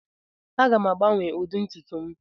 Aga m agbanwe ụdị ntutu m.